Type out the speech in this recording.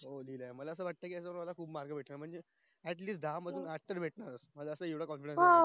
हो लिहिलंय मला असं वाटय याच्या मध्ये मला खूप mark भेटणार म्हणजे at least दहा मधून आठ